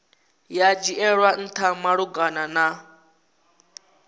ya dzhielwa ntha malugana na